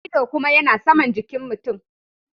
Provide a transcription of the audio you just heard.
Ido kuma yana Saman jikin mutum.